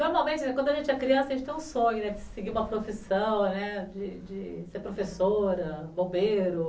Normalmente, quando a gente é criança, a gente tem o sonho de seguir uma profissão, né, de ser professora, bombeiro.